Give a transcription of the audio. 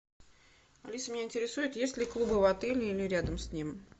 алиса меня интересует есть ли клубы в отеле или рядом с ним